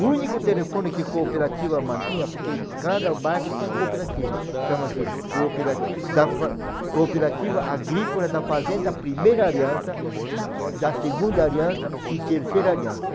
O único telefone que cooperativa mantinha, porque cada bairro tinha cooperativa, chama-se Cooperati da fa... Cooperativa Agrícola da Fazenda Primeira Aliança, da Segunda Aliança e Terceira Aliança.